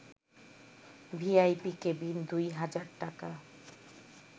VIP cabin ২ হাজার টাকা